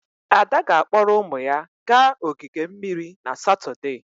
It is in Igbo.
Ada ga-akpọrọ ụmụ ya gaa ogige mmiri na Satọde.